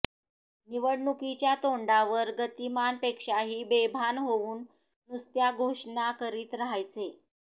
निवडणुकीच्या तोंडावर गतीमानपेक्षाही बेभान होऊन नुसत्या घोषणा करीत राहायचे